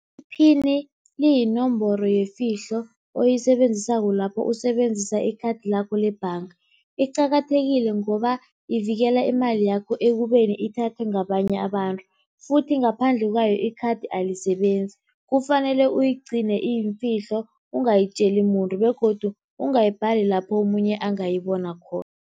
Iphini liyinomboro yefihlo oyisebenzisako lapho usebenzisa ikhathi lakho lebhanga. Iqakathekile ngoba ivikela imali yakho ekubeni ithathwe ngabanye abantu futhi ngaphandle kwayo ikhathi alisebenzi, kufanele uyigcine iyifihlo ungayitjeli muntu begodu ungayibhali lapho omunye angayibona khona.